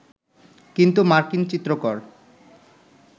কিন্তু মার্কিন চিত্রকর